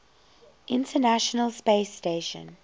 international space station